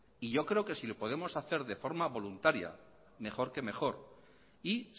y yo creo que si lo podemos hacer de forma voluntaria mejor que mejor y